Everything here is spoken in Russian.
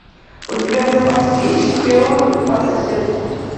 у тебя в запасе есть шпион по соседству